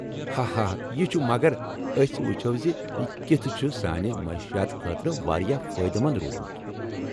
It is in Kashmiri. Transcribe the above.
ہا ہا، یہِ چُھ ، مگر أسۍ وُچھو زِ یہِ کتھہٕ چُھ سانہِ معٲشیات خٲطرٕ واریاہ فٲیدٕمند روٗدمُت !